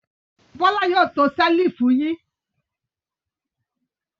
Bọ́lá yóò to ṣẹ́lífù yín.